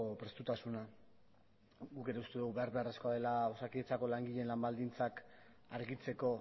prestutasuna guk ere uste dugu behar beharrezkoa dela osakidetzako langileen lan baldintzak argitzeko